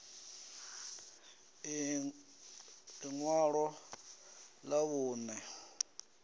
inwalo lṅa vhunṋe ḽi re